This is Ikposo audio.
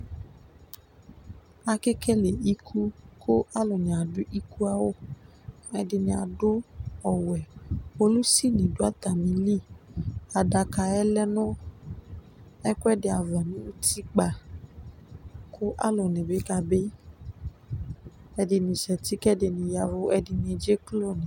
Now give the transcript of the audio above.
Akekele iku ku aluni adu iku awu ɛdini adu ɔwɛ Polisi di du atamili Adaka yɛ lɛ nu ɛku ɛdi ava nu utikpa ku aluni bi kabi ɛdini za uti ku ɛdini ya ɛvu Ɛdini edze klo